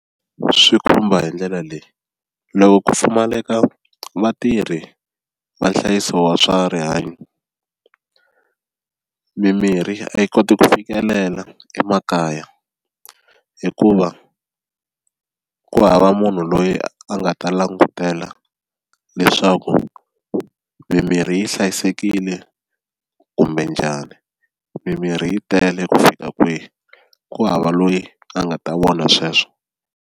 Swi khumba hi ndlela leyi loko ku pfumaleka vatirhi va nhlayiso wa swa rihanyo mimirhi a yi koti ku fikelela emakaya hikuva ku hava munhu loyi a nga ta langutela leswaku mimirhi yi hlayisekile kumbe njhani, mimirhi yi tele ku fika kwihi ku hava loyi a nga ta vona sweswo.